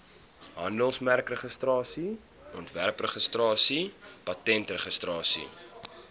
handelsmerkregistrasie ontwerpregistrasie patentregistrasie